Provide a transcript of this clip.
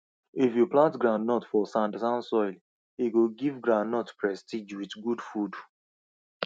if you plant groundnut for sandsand soil e go give ground prestige with good food